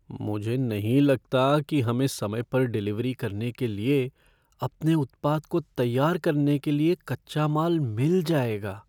मुझे नहीं लगता कि हमें समय पर डिलीवरी करने के लिए अपने उत्पाद को तैयार करने के लिए कच्चा माल मिल जाएगा।